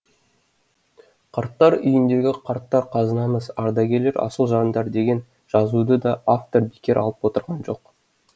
қарттар үйіндегі қарттар қазынамыз ардагерлер асыл жандар деген жазуды да автор бекер алып отырған жоқ